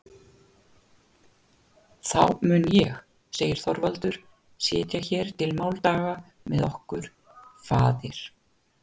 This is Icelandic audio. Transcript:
Þá mun ég segir Þorvaldur, setja hér til máldaga með okkur, faðir!